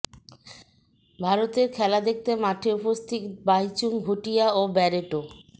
ভারতের খেলা দেখতে মাঠে উপস্থিত ভাইচুং ভুটিয়া ও ব্যারেটো